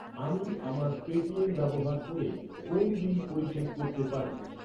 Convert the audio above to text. আমি আমার পেটিএম ব্যবহার করে কোন বিল পরিশোধ করতে পারি?